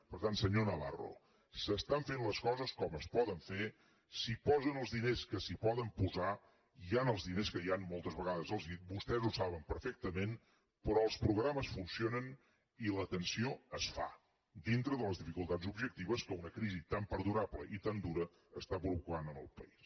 per tant senyor navarro s’estan fent les coses com es poden fer s’hi posen els diners que s’hi poden posar hi han els diners que hi han moltes vegades els ho he dit vostès ho saben perfectament però els programes funcionen i l’atenció es fa dintre de les dificultats objectives que una crisi tan perdurable i tan dura està provocant en el país